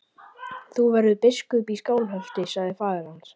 Þú verður biskup í Skálholti, sagði faðir hans.